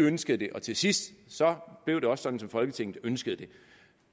ønskede det og til sidst blev det også sådan som folketinget ønskede det